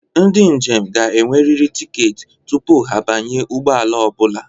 Ndị njem ga-enwerịrị tiketi tupu ha abanye ụgbọ ala ọ bụla.